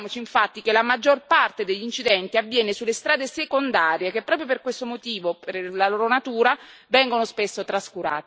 Ricordiamoci, infatti, che la maggior parte degli incidenti avviene sulle strade secondarie, che proprio per questo motivo, per la loro natura, vengono spesso trascurate.